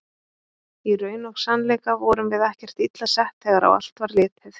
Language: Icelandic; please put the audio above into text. Í raun og sannleika vorum við ekkert illa sett þegar á allt var litið.